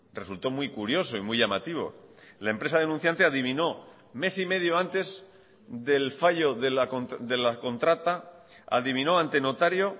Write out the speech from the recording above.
resultó muy curioso y muy llamativo la empresa denunciante adivinó mes y medio antes del fallo de la contrata adivinó ante notario